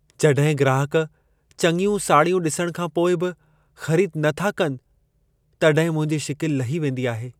जॾहिं ग्राहक चङियूं साड़ियूं ॾिसण खां पोइ बि ख़रीद न था कनि, तॾहिं मुंहिंजी शिकिलु लही वेंदी आहे।